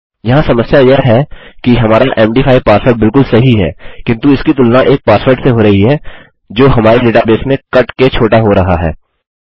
यहाँ समस्या यह है कि हमारा मद5 पासवर्ड बिलकुल सही है किन्तु इसकी तुलना एक पासवर्ड से हो रही है जो हमारे डेटाबेस में कट के छोटा हो रहा है